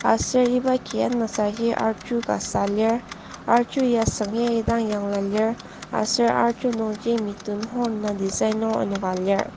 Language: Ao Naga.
Aser iba ki anasaji arju ka süa lir arju ya süng agi dang süa lir aser arju nungji mithun horn design enoka lir.